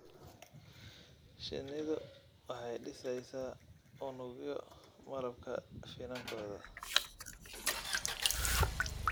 Shinnidu waxay dhiseysaa unugyo malabka finankooda.